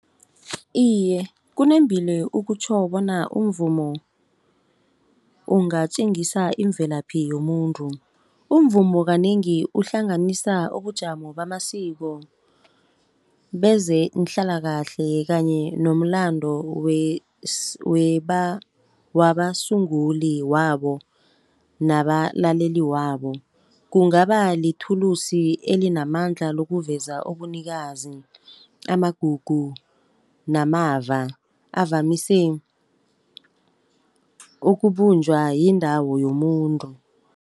Iye, kunembile ukutjho bona umvumo ungatjengisa imvelaphi yomuntu. Umvumo kanengi uhlanganisa ubujamo bamasiko bezeenhlalakahle kanye nomlando wabasunguli wabo nabalaleli wabo. Kungaba lithulusi elinamandla lokuveza ubunikazi, amagugu namava avamise ukubunjwa yindawo yomuntu.